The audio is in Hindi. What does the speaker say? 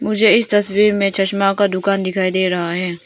मुझे इस तस्वीर में चश्मा का दुकान दिखाई दे रहा है।